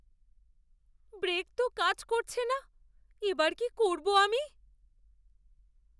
Break তো কাজ করছে না, এবার কী করবো আমি?